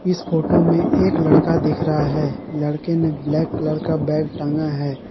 इस फोटो में एक लड़का दिख रहा है लड़के ने ब्लैक कलर का बैग टांगा है।